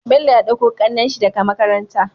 Bello ya ɗauko kanan shi daka makaranta